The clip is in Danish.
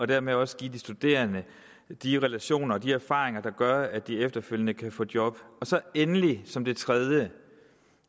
dermed også giver de studerende de relationer og erfaringer der gør at de efterfølgende kan få job endelig som det tredje